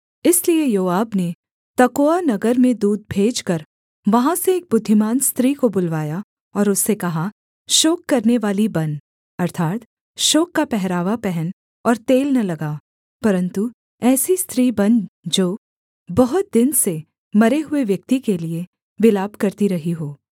इसलिए योआब ने तकोआ नगर में दूत भेजकर वहाँ से एक बुद्धिमान स्त्री को बुलवाया और उससे कहा शोक करनेवाली बन अर्थात् शोक का पहरावा पहन और तेल न लगा परन्तु ऐसी स्त्री बन जो बहुत दिन से मरे हुए व्यक्ति के लिये विलाप करती रही हो